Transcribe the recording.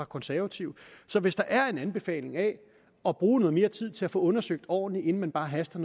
konservative så hvis der er en anbefaling af at bruge noget mere tid til at få undersøgt noget ordentligt inden man bare haster